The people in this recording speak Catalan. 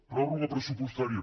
pròrroga pressupostària